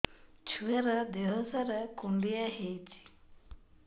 ଛୁଆର୍ ଦିହ ସାରା କୁଣ୍ଡିଆ ହେଇଚି